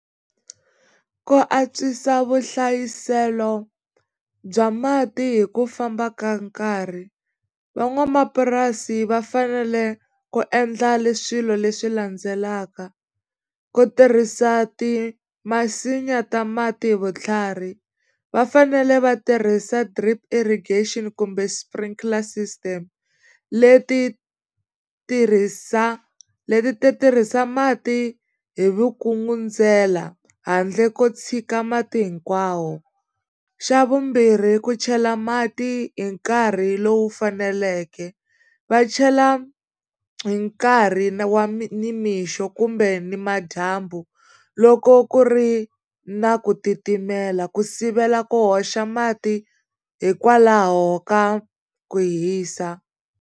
Ku antswisa vuhlayiselo bya mati hi ku famba ka nkarhi van'wamapurasi va fanele ku endla swilo leswi landzelaka ku tirhisa ti masinya ta mati hi vutlhari va fanele va tirhisa drip irrigation kumbe sprinkler system leti tirhisa leti ti tirhisa mati hi vukungundzela handle ko tshika mati hinkwawo xa vumbirhi ku chela mati hi nkarhi lowu faneleke va chela hi nkarhi wa nimixo kumbe nimadyambu loko ku ri na ku titimela ku sivela ku hoxa mati hikwalaho ka ku hisa.